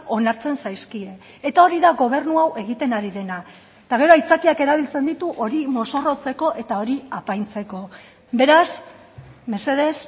onartzen zaizkie eta hori da gobernu hau egiten ari dena eta gero aitzakiak erabiltzen ditu hori mozorrotzeko eta hori apaintzeko beraz mesedez